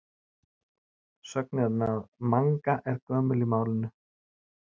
sögnin að manga er gömul í málinu